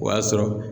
O y'a sɔrɔ